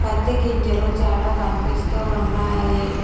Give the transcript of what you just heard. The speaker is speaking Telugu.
పత్తి గింజలు చాలా కనిపిస్తూ ఉన్నాయి.